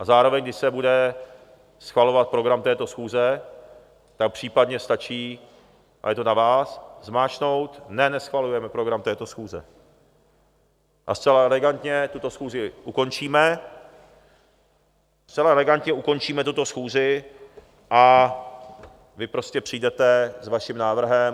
A zároveň když se bude schvalovat program této schůze, tak případně stačí, a je to na vás, zmáčknout ne, neschvalujeme program této schůze, a zcela elegantně tuto schůzi ukončíme, zcela elegantně ukončíme tuto schůzi a vy prostě přijdete s vaším návrhem.